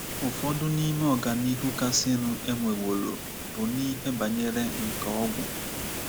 Ụfọdụ n’ime ọganihu kasịnụ e nweworo bụ n’ihe banyere nkà ọgwụ.